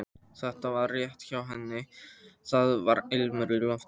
Þetta var rétt hjá henni, það var ilmur í loftinu.